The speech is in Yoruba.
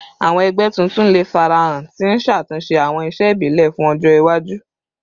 Awọn ẹgbẹ tuntun le farahan, ti n ṣatunṣe awọn iṣe ibile fun ọjọ iwaju